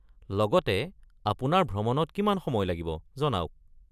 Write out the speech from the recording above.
লগতে আপোনাৰ ভ্ৰমণত কিমান সময় লাগিব জনাওক।